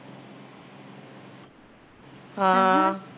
ਹਾਂ